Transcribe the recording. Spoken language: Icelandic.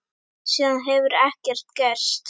Síðan hefur ekkert gerst.